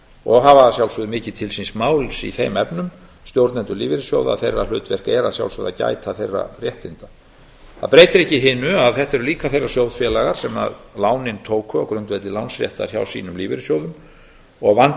og hafa að sjálfsögðu mikið til síns máls í þeim efnum stjórnendur lífeyrissjóða að þeirra hlutverk er að sjálfsögðu að gæta þeirra réttinda það breytir ekki hinu að þetta eru líka þeir sjóðfélagar sem lánin tóku á grundvelli lánsréttar hjá sínum lífeyrissjóðum og vandi